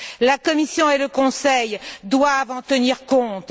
La Commission et le Conseil doivent en tenir compte.